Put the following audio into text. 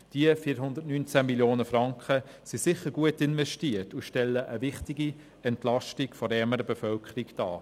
Diese 419 Mio. Franken sind sicher gut investiert und stellen eine wichtige Entlastung der ärmeren Bevölkerung dar.